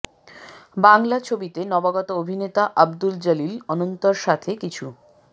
বাংলা ছবিতে নবাগত অভিনেতা আব্দুল জলিল অনন্তর সাথে কিছু